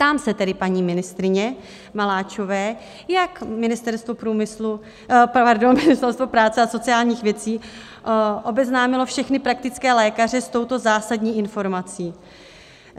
Ptám se tedy paní ministryně Maláčové, jak Ministerstvo práce a sociálních věcí obeznámilo všechny praktické lékaře s touto zásadní informací.